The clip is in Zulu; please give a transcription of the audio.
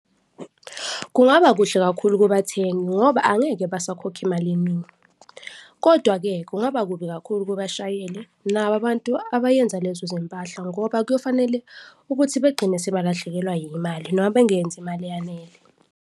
Kungaba kuhle kakhulu kubathengi ngoba angeke basakhokha imali eningi kodwa-ke kungaba kubi kakhulu kubashayeli nabo abantu abayenza lezo zimpahla ngoba kuyofanele ukuthi begcine sebelahlekelwa imali noma bengenzi imali eyanele.